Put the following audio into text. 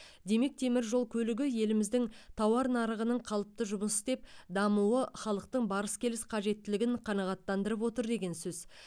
демек темір жол көлігі еліміздің тауар нарығының қалыпты жұмыс істеп дамуы халықтың барыс келіс қажеттілігін қанағаттандырып отыр деген сөз